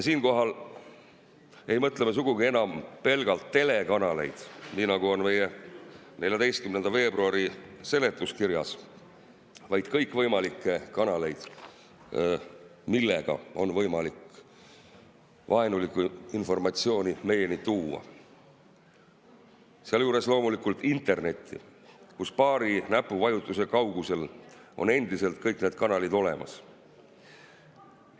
Siinkohal ei mõtle me sugugi enam pelgalt telekanaleid, nii nagu on meie 14. veebruari seletuskirjas, vaid kõikvõimalikke kanaleid, millega on võimalik vaenulikku informatsiooni meieni tuua, sealjuures loomulikult internetti, kus paari näpuvajutuse kaugusel on endiselt kõik need kanalid olemas.